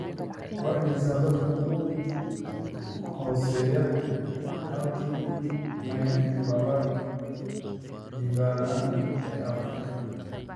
Waa imisa dadka ugu hooseeya halkii mayl laba jibaaran ee Afrika?